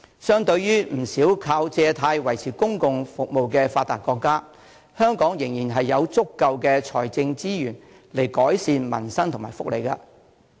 相對於不少靠借貸維持公共服務的發達國家，香港仍然有足夠的財政資源來改善民生和福利。